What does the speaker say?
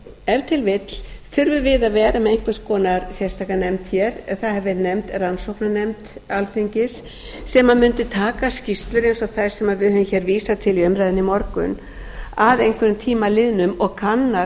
ef til vill þurfum við að vera með einhvers konar sérstaka nefnd hér það hefur verið nefnd rannsóknarnefnd alþingis sem mundi taka skýrslur eins og þær sem við höfum hér vísað til í umræðunni í morgun að einhverjum tíma liðnum og kanna